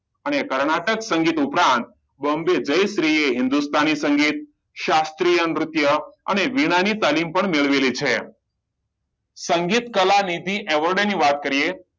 અને કર્ણાટક સંગીત ઉપરાંત બોમ્બે જયશ્રી એ હિન્દુસ્તાની સંગીત શાસ્ત્રીય નૃત્ય અને ની પણ તાલીમ મેળવી છે સંગીત કલાનિધિ એવોર્ડ ની વાત કરીયે